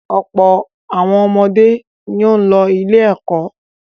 Ọ̀pọ̀ àwọn ọmọdé ni ó ń lọ ilé-ẹ̀kọ́.